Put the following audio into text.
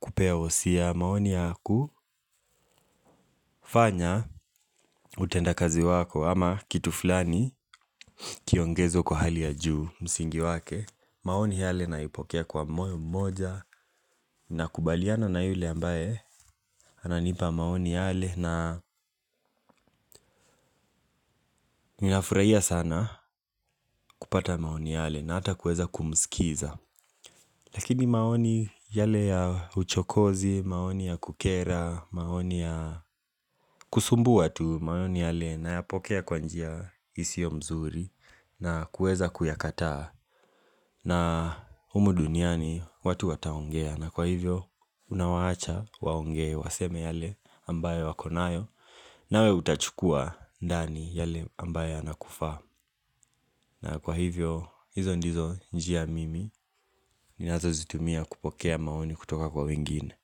kupea husia, maoni ya kufanya utenda kazi wako ama kitu fulani kiongeze kwa hali ya juu msingi wake. Maoni yale naipokea kwa moyo mmoja nakubaliana na yule ambaye ananipa maoni yale na ninafuraia sana kupata maoni yale na ata kueza kumskiza. Lakini maoni yale ya uchokozi, maoni ya kukera, maoni ya kusumbua tu. Maoni yale nayapokea kwa njia isio mzuri na kueza kuyakataa. Na humu duniani watu wataongea na kwa hivyo unawaacha waongee waseme yale ambayo wako nayo nawe utachukua ndani yale ambayo yanakufa. Na kwa hivyo hizo ndizo njia mimi ninazozitumia kupokea maoni kutoka kwa wingine.